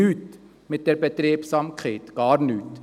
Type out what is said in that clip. Mit dieser Betriebsamkeit gewinnen wir nichts, gar nichts.